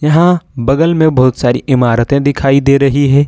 यहाँबगल में बहुत सारी इमारतें दिखाई दे रही हैं।